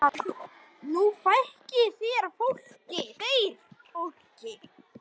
Nú fækki þeir fólki.